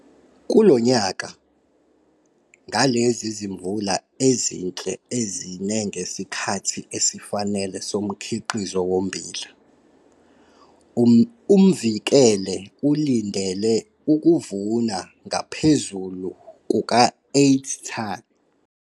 Kulo nyaka, ngalezi zimvula ezinhle ezine ngesikhathi esifanele somkhiqizo wommbila, uMvikele ulindele ukuvuna ngaphezulu kuka-8 ton.